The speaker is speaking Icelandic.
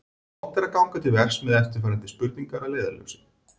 Gott er ganga til verks með eftirfarandi spurningar að leiðarljósi: